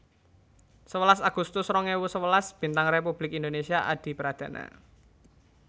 Sewelas agustus rong ewu sewelas Bintang Republik Indonésia Adipradana